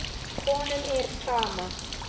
Honum er sama.